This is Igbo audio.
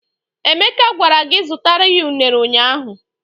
Emeka gwara gị zutara ya ụnere ụnyaahụ!